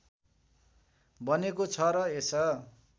बनेको छ र यस